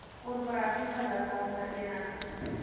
korporatiewe liggaam vereniging